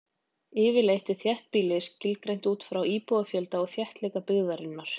Yfirleitt er þéttbýli skilgreint út frá íbúafjölda og þéttleika byggðarinnar.